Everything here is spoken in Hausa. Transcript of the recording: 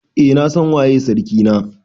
Eh na San waye sarkin na.